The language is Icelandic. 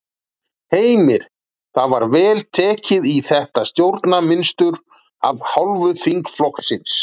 Heimir: Var vel tekið í þetta stjórnarmynstur af hálfu þingflokksins?